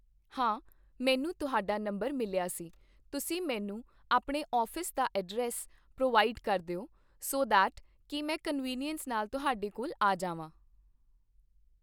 ਹਾਂ, ਮੈਨੂੰ ਤੁਹਾਡਾ ਨੰਬਰ ਮਿਲਿਆ ਸੀ, ਤੁਸੀਂ ਮੈਨੂੰ ਆਪਣੇ ਔਫ਼ਿਸ ਦਾ ਐਡਰੈਸ ਪ੍ਰੋਵਾਇਡ ਕਰ ਦਿਓ ਸੋ ਦੈਟ ਕਿ ਮੈਂ ਕਨਵੀਨੀਅਸ ਨਾਲ਼ ਤੁਹਾਡੇ ਕੋਲ ਆ ਜਾਵਾ